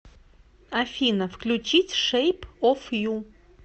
афина включить шейп оф ю